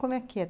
Como é que é?